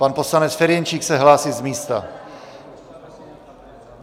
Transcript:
Pan poslanec Ferjenčík se hlásí z místa.